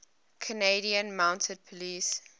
canadian mounted police